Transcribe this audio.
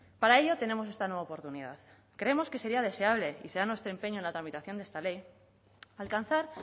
para ello tenemos esta nueva oportunidad creemos que sería deseable y será nuestro empeño en la tramitación de esta ley alcanzar